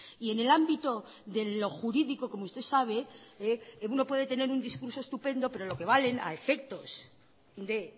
y en el ámbito de lo jurídico como usted sabe uno puede tener un discurso estupendo pero lo que vale a efectos de